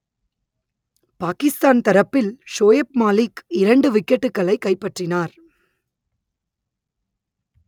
பாகிஸ்தான் தரப்பில் ஷோயப் மாலிக் இரண்டு விக்கெட்டுகளை கைப்பற்றினார்